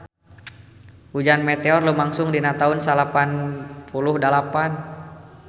Hujan meteor lumangsung dina taun salapan puluh dalapan